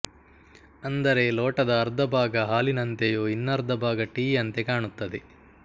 ಅಂದರೆ ಲೋಟದ ಅರ್ಧ ಭಾಗ ಹಾಲಿನಂತೆಯೂ ಇನ್ನರ್ಧ ಭಾಗ ಟೀಯಂತೆ ಕಾಣುತ್ತದೆ